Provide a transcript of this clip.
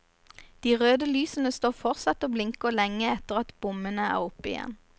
De røde lysene står fortsatt og blinker lenge etter at bommene er oppe igjen.